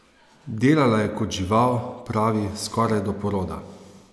Delala je kot žival, pravi, skoraj do poroda.